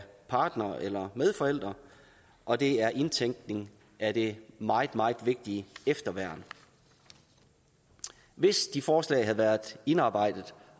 partnere eller medforældre og det er indtænkning af det meget meget vigtige efterværn hvis de forslag havde været indarbejdet